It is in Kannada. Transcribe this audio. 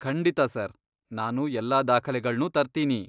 ಖಂಡಿತಾ ಸರ್! ನಾನು ಎಲ್ಲಾ ದಾಖಲೆಗಳ್ನೂ ತರ್ತೀನಿ.